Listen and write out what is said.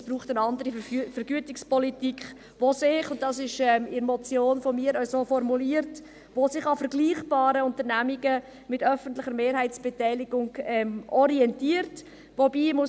Es braucht eine andere Vergütungspolitik, die sich – und dies ist in meiner Motion auch so formuliert – an vergleichbaren Unternehmungen mit öffentlicher Mehrheitsbeteiligung orientiert, wobei ich sagen muss: